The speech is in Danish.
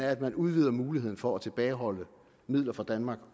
at man udvider muligheden for at tilbageholde midler fra danmark